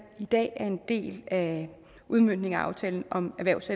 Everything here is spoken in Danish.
i dag en del af udmøntningen af aftalen om erhvervs